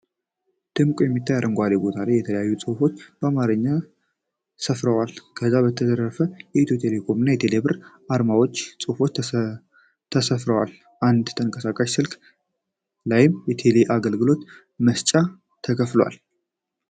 ደምቆ በሚታይ አረንጓዴ ቦታ ላይ የተለያዩ ጽሁፎች በአማረኛ ሰፍረዋል፤ ከዛም በተረፈ የኢትዮ ቴሌኮም እና ቴሌብር አርማዎች እና ጽሁፎች ሰፍረዋል። አንድ ተንቀሳቃሽ ስልክ ላይም የቴሌብር አገልግሎት መስጫ ተከፍቷል።